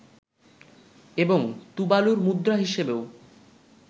এবং তুবালুর মুদ্রা হিসেবেও